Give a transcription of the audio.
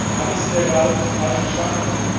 Habe ich Sie da gerade falsch verstanden?